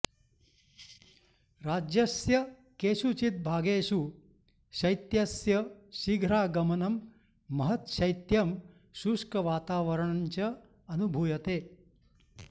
राज्यस्य केषुचित् भागेषु शैत्यस्य शीघ्रागमनं महत् शैत्यं शुष्कवातावरणञ्च अनुभूयते